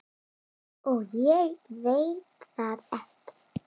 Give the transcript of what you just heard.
Og ég veit það ekki.